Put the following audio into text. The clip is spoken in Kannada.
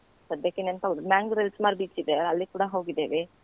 ಸದ್ಯಕ್ಕೆ ನೆನ್ಪಾಗುದಿಲ್ಲ Manglore ರಲ್ಲಿ ಸುಮಾರ್ beach ಇದೆ ಅಲ್ಲಿಗ್ ಕೂಡ ಹೋಗಿದೆವೆ.